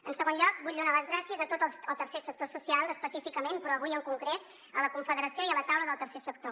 en segon lloc vull donar les gràcies a tot el tercer sector social específicament però avui en concret a la confederació i a la taula del tercer sector